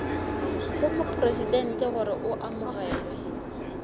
go mopresidente gore o amogelwe